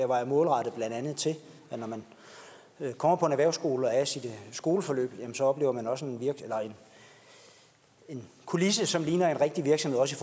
var målrettet til at når man kommer på en erhvervsskole og er i sit skoleforløb så oplever man også en kulisse som ligner en rigtig virksomhed også